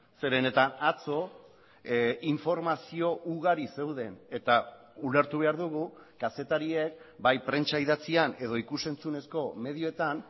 zeren eta atzo informazio ugari zeuden eta ulertu behar dugu kazetariek bai prentsa idatzian edo ikus entzunezko medioetan